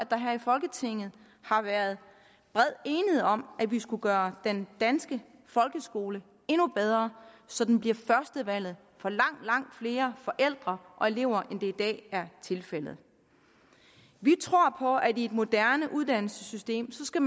der her i folketinget har været bred enighed om at vi skulle gøre den danske folkeskole endnu bedre så den bliver førstevalget for langt langt flere forældre og elever end det i dag er tilfældet vi tror på at man i et moderne uddannelsessystem skal